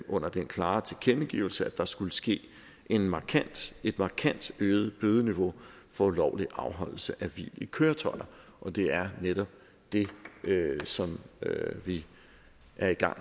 under den klare tilkendegivelse at der skulle ske et markant et markant øget bødeniveau for ulovlig afholdelse af hvil i køretøjer og det er netop det som vi er i gang